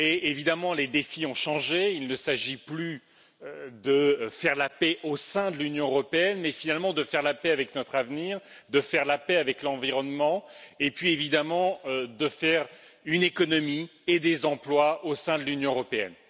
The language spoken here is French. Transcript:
Évidemment les défis ont changé il ne s'agit plus de faire la paix au sein de l'Union européenne mais, finalement, de faire la paix avec notre avenir, de faire la paix avec l'environnement et puis, évidemment, de bâtir une économie et créer des emplois au sein de l'Union européenne.